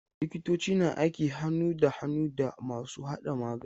Likitoci na aiki hannu da hannu da masu haɗa magani.